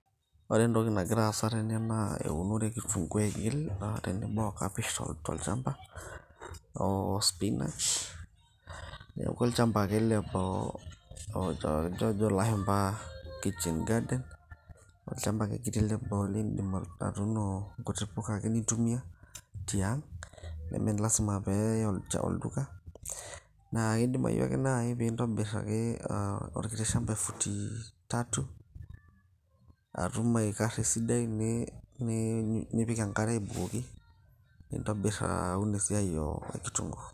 ore entoki nagira aasa tene naa eunore e kitungu aigil naa tenebo o kapish tolchamba o spinach neeku olchamba ake ele loo ojo ilashumpa kitchen garden olchamba ake kiti leboo lindim atuuno nkuti puka ake nintumia tiang nemelasima peeyai olduka naa idimayu ake naaji piintobirr ake orkiti shamba e futi tatu atum aikarra esidai nipiki enkare abukoki nintobirr aun esiai e kitungu.